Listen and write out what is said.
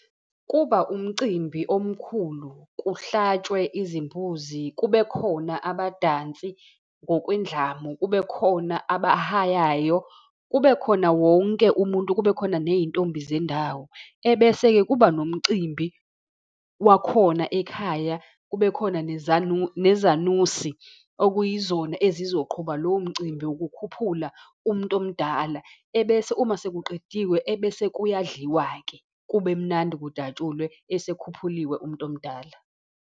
Kuba umcimbi omkhulu, kuhlatshwe izimbuzi, kube khona abadansi, ngokwendlamu, kube khona abahayayo, kube khona wonke umuntu, kube khona neyintombi zendawo. Ebese-ke kuba nomcimbi wakhona ekhaya, kube khona nezanusi okuyizona ezizoqhuba lowo mcimbi wokukhuphula umuntu omdala. Ebese uma sekuqediwe, ebese kuyadliwa-ke, kube mnandi kujatshulwe esekhuphuliwe umuntu omdala.